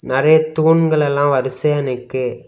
நிறைய தூண்கள் எல்லாம் வரிசையா நிக்கு.